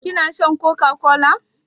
Kina shan coca-cola?